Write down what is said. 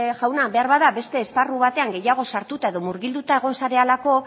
jauna beharbada beste esparru batean gehiago sartuta edo murgilduta egon zarelako